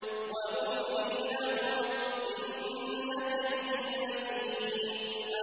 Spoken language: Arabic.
وَأُمْلِي لَهُمْ ۚ إِنَّ كَيْدِي مَتِينٌ